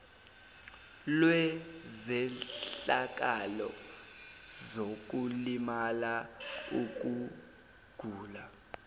lwezehlakalo zokulimala ukugula